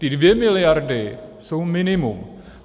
Ty dvě miliardy jsou minimum.